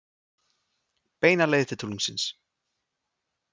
Beina leið til tunglsins.